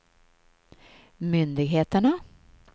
myndigheterna